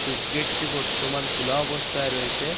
Choose গেটটি বর্তমান খুলা অবস্থায় রয়েছে।